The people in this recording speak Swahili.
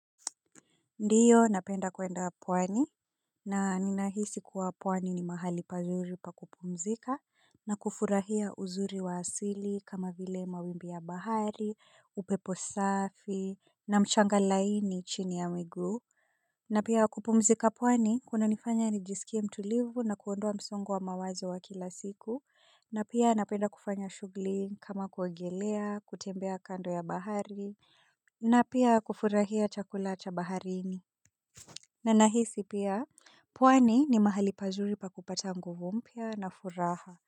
Ndiyo napenda kwenda pwani na ninahisi kuwa pwani ni mahali pazuri pa kupumzika na kufurahia uzuri wa asili kama vile mawimbi ya bahari, upepo safi na mchanga laini chini ya miguu. Na pia kupumzika pwani kunanifanya nijisikie mtulivu na kuondoa msongo wa mawazo wa kila siku na pia napenda kufanya shughuli kama kuogelea, kutembea kando ya bahari na pia kufurahia chakula cha baharini. Na nahisi pia pwani ni mahali pazuri pa kupata nguvu mpya na furaha.